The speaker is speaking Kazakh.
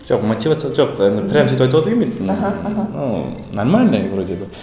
жоқ мотивация жоқ енді прямо сөйтіп айтуға да келмейді аха аха но нормально ы вроде бы